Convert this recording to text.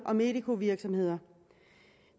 og medicovirksomheder